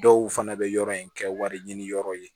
Dɔw fana bɛ yɔrɔ in kɛ wari ɲini yɔrɔ ye